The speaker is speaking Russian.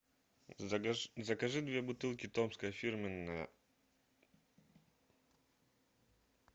закажи две бутылки томское фирменное